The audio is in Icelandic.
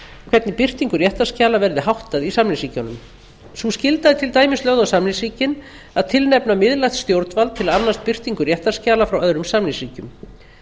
hvernig birtingu réttarskjala verði háttað í samningsríkjunum sú skylda er til dæmis lögð á samningsríkin að tilnefna miðlægt stjórnvald til að annast birtingu réttarskjala frá öðrum samningsríkjum